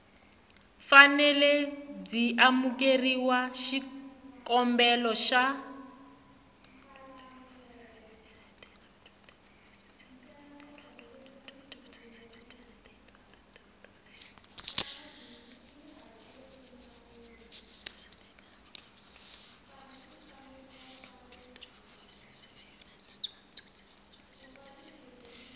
fanele byi amukela xikombelo xa